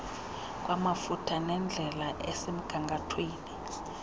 kwamafutha nendlela esemgangathweni